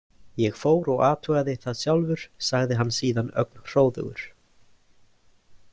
Ég fór og athugaði það sjálfur, sagði hann síðan ögn hróðugur.